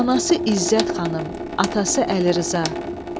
Anası İzzət xanım, atası Əlirza.